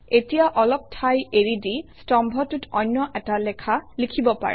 তিয়া অলপ ঠাই এৰি দি স্তম্ভটোত অন্য এটা লেখা লিখিব পাৰে